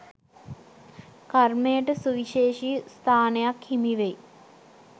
කර්මයට සුවිශේෂි ස්ථානයක් හිමිවෙයි.